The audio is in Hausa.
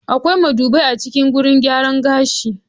Akwai madubai a cikin gurin gyaran gashi.